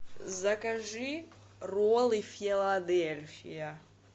закажи роллы филадельфия